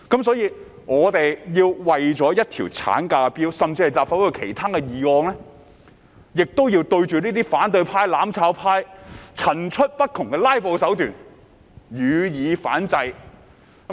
所以，我們為了一項產假法案，甚至立法會其他議案，也要對這些反對派、"攬炒派"層出不窮的"拉布"手段予以反制。